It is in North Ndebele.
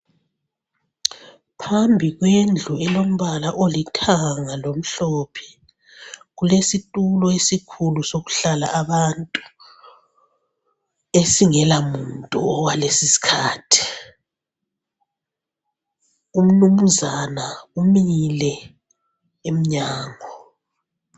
Phambi kwendlu elombala olithanga lomhlophe, kulesitulo esikhulu sokuhlala abantu esingela muntu okwales' isikhathi. Umnumzana umile emnyango.